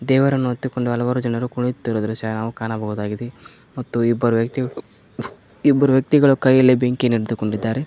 ದೇವರನ್ನು ಹೊತ್ತುಕೊಂಡು ಹಲವರು ಜನರು ಕುಣಿಯುತ್ತಿರುವ ದೃಶ್ಯವನ್ನು ಕಾಣಬಹುದಾಗಿದೆ ಮತ್ತು ಇಬ್ಬರು ವ್ಯಕ್ತಿಗಳು ಇಬ್ಬರ ವ್ಯಕ್ತಿಗಳು ಕೈಯಲ್ಲಿ ಬೆಂಕಿಯನ್ನು ಇಟ್ಟುಕೊಂಡಿದ್ದಾರೆ.